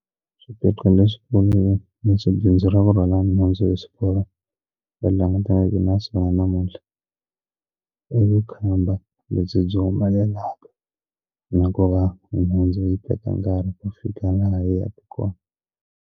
Swiphiqo leswikulu leswi bindzu ra ku rhwala nhundzu hi swiporo va langutanaka na swona namuntlha i vukhamba lebyi byi humelela na ku va nhundzu yi teka nkarhi ku fika laha yi yaka kona.